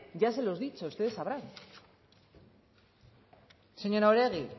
ya se lo he dicho ustedes sabrán señora oregi